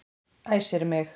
Æsir mig.